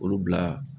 Olu bila